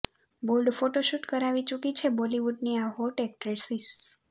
bold photoshoot કરાવી ચૂકી છે બોલિવૂડની આ હોટ એક્ટ્રેસિસ